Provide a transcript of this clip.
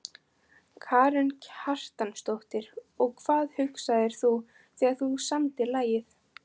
Karen Kjartansdóttir: Og hvað hugsaðir þú þegar þú samdir lagið?